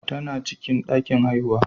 Tana cikin ɗakin haihuwa.